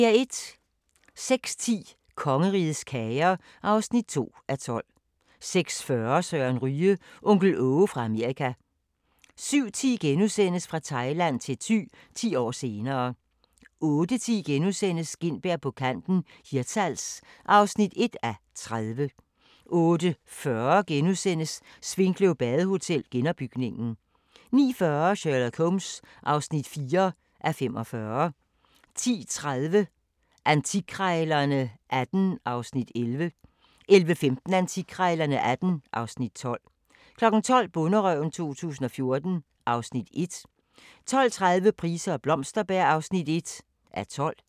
06:10: Kongerigets kager (2:12) 06:40: Søren Ryge – onkel Aage fra Amerika 07:10: Fra Thailand til Thy – 10 år senere * 08:10: Gintberg på kanten – Hirtshals (1:30)* 08:40: Svinkløv Badehotel – genopbygningen * 09:40: Sherlock Holmes (4:45) 10:30: Antikkrejlerne XVIII (Afs. 11) 11:15: Antikkrejlerne XVIII (Afs. 12) 12:00: Bonderøven 2014 (Afs. 1) 12:30: Price og Blomsterberg (1:12)